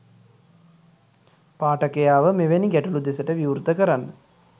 පාඨකයාව මෙවැනි ගැටළු දෙසට විවෘත කරන්න